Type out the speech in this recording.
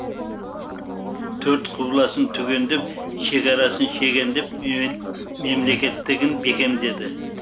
төрт құбыласын түгендеп шекарасын шегендеп мемлекеттілігін бекемдеді